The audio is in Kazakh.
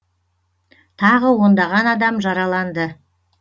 тағы ондаған адам жараланды